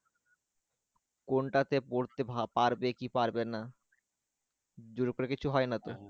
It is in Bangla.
কোনটা তে পড়তে পারবে কি পারবে না জোরের উপর কিছু হয় না তো